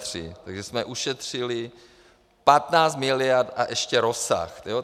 Takže jsme ušetřili 15 miliard a ještě rozsah.